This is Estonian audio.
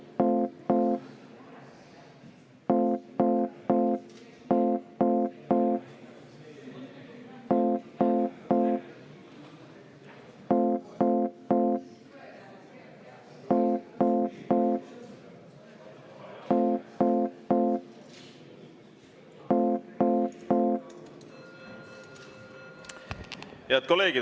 Head kolleegid!